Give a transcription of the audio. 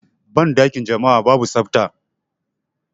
Banɗakin jama'a babu tsafta.